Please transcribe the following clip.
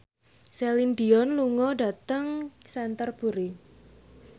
Celine Dion lunga dhateng Canterbury